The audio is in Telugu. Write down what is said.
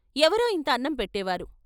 ఎవరో ఇంత అన్నం పెట్టే వారు.